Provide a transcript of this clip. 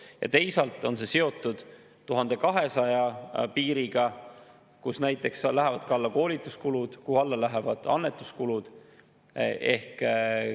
Ja teisalt on see seotud 1200 piiriga, mille alla lähevad näiteks ka koolituskulud, mille alla lähevad annetuskulud.